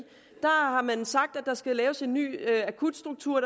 har man sagt at der skal laves en ny akutstruktur